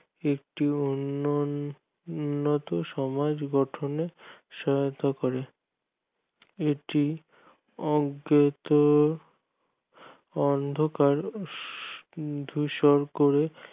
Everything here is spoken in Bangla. একটি অন্য উন্নত সমাজ গঠনে করতে সহায়তা করে এটি অজ্ঞাত অন্ধকার দূষণ করে